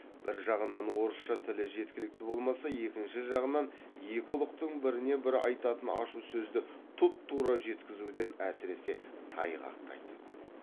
бір жағынан орысша тілі жеткілікті болмаса екінші жағынан екі ұлықтың біріне бірі айтатын ашу сөзді тұп тура жеткізуден әсіресе тайғақтайтын